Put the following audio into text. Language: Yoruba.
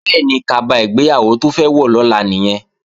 Bẹ́ẹ̀ni, kaba ìgbéyàwó tó fẹ́ wọ̀ lọ́la nìyẹn